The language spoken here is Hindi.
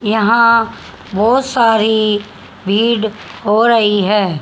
यहां बहुत सारी भीड़ हो रही है।